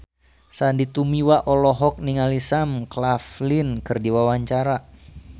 Sandy Tumiwa olohok ningali Sam Claflin keur diwawancara